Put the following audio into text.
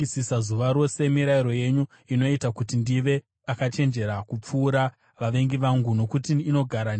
Mirayiro yenyu inoita kuti ndive akachenjera kupfuura vavengi vangu, nokuti inogara neni nguva dzose.